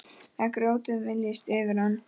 Að grjótið myljist yfir hann.